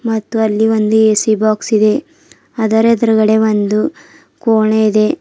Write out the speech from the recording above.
ಮತ್ತು ಅಲ್ಲಿ ಒಂದು ಎ_ಸಿ ಬಾಕ್ಸ್ ಇದೆ ಅದರ ಎದುರುಗಡೆ ಒಂದು ಕೋಣೆ ಇದೆ.